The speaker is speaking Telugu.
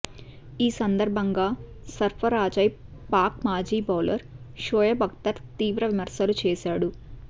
ఈ సందర్భంగా సర్ఫరాజ్పై పాక్ మాజీ బౌలర్ షోయబ్ అఖ్తర్ తీవ్ర విమర్శలు చేశాడు